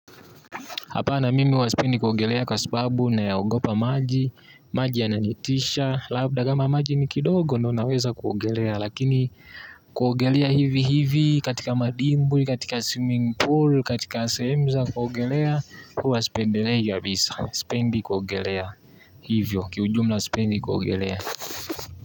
Hapana mimi huwa sipendi kuogelea kwa sababu na yaogopa maji. Maji yananitisha labda kama maji ni kidogo ndio naweza kuogelea. Lakini kuogelea hivi hivi katika madimbwi katika swimming pool, katika sehemu za kuogelea, huwa sipendelei kabisa sipendi kuogelea. Hivyo, kiujumla sipendi kuogelea.